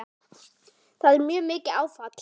Það var mjög mikið áfall.